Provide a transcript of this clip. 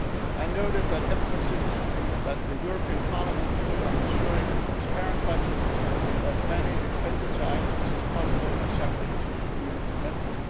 useful input in this regard. I noted the emphasis that the European Parliament put on ensuring a transparent budget where as many expenditure items as possible are